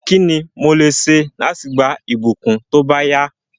Kíni mo lè se láti gba ìbùkún tóbáyá